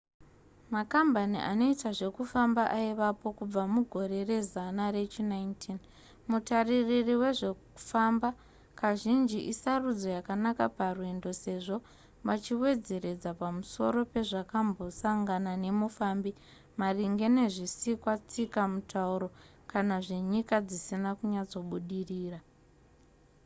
makambani anoita zvekufamba aivapo kubva mugore rezana rechi19 mutaririri wezvekufamba kazhinji isarudzo yakanaka parwendo sezvo vachiwedzeredza pamusoro pezvakambosangana nemufambi maringe nezvisikwa tsika mutauro kana zvenyika dzisina kunyatsobudirira